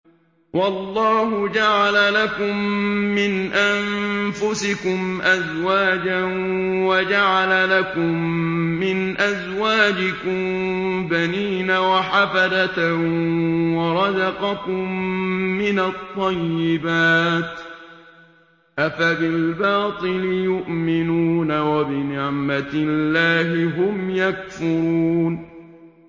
وَاللَّهُ جَعَلَ لَكُم مِّنْ أَنفُسِكُمْ أَزْوَاجًا وَجَعَلَ لَكُم مِّنْ أَزْوَاجِكُم بَنِينَ وَحَفَدَةً وَرَزَقَكُم مِّنَ الطَّيِّبَاتِ ۚ أَفَبِالْبَاطِلِ يُؤْمِنُونَ وَبِنِعْمَتِ اللَّهِ هُمْ يَكْفُرُونَ